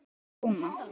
Og prjóna.